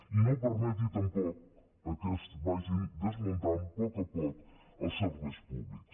i no permeti tampoc que es vagin desmuntant poc a poc els serveis públics